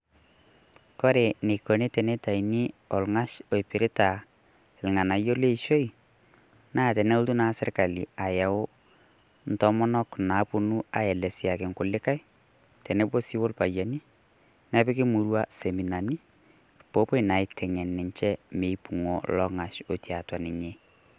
Kore neikoni tenetaini ong'ash oipirita olng'anaiyo le ishoi naa teneotu naa sirikali ayeu ntomonok naaponu aleseaki nkulika teneboo sii olpayenii. Nepikii murrua seminani poo opoi naa ateng'en ninchee meipung'o long'ash otii atua ninye.